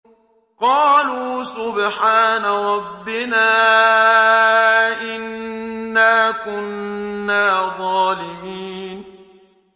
قَالُوا سُبْحَانَ رَبِّنَا إِنَّا كُنَّا ظَالِمِينَ